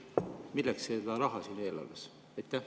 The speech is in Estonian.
Milleks see raha seal eelarves?